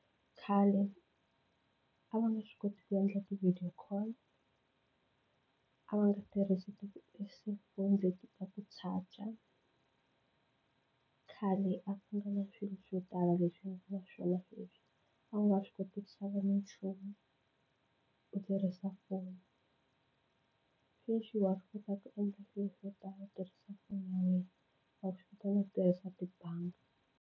Khale a va nge swi koti ku endla ti-video call a va nga tirhisi ti-cellphone leti ku touch-a khale a ku na swilo swo tala leswi wa swona leswi a nga swi koti ku xava minchumu u tirhisa foni sweswi wa swi kota ku endla swilo swo tala u tirhisa foni ya wena wa swi kota na ku tirhisa tibangi.